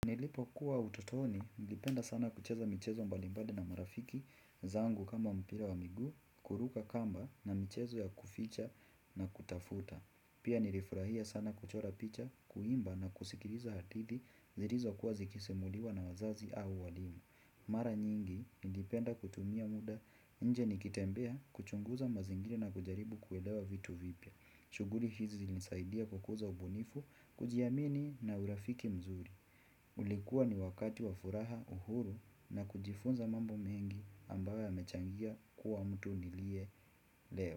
Nilipokuwa ututoni, nilipenda sana kucheza michezo mbali mbali na marafiki zangu kama mpira wa miguu, kuruka kamba na mchezo ya kuficha na kutafuta. Pia nilifurahia sana kuchora picha, kuimba na kusikiliza hadithi zilizokuwa zikisimuliwa na wazazi au walimu. Mara nyingi, nilipenda kutumia muda, nje nikitembea kuchunguza mazingira na kujaribu kuelewa vitu vipya. Shughuli hizi zilinisaidia kukuza ubunifu, kujiamini na urafiki mzuri. Ulikuwa ni wakati wa furaha uhuru na kujifunza mambo mengi ambayo yamechangia kuwa mtu niliye leo.